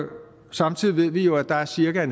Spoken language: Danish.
samtidig ved vi jo at der er cirka